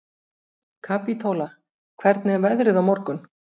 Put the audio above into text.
Kapítóla, hvernig er veðrið á morgun?